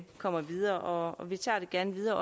kommer videre vi tager det gerne videre